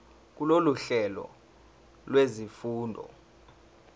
kulolu hlelo lwezifundo